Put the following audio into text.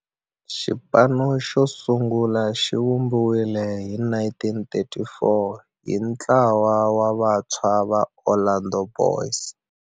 Xipano xosungula xivumbiwile hi 1934 hi ntlawa wa vantshwa va Orlando Boys Club.